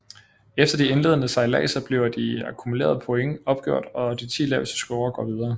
Efter de indledende sejladser bliver de akkumulerede points opgjort og de ti laveste scorer går videre